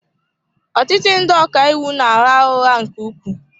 Ọtụtụ ndị ọka iwu na-agha ụgha nke ukwuu.